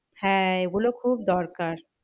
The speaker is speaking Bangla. হ্যাঁ এ গুলো খুব দরকার।